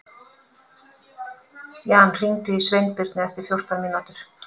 Jan, hringdu í Sveinbirnu eftir fjórtán mínútur.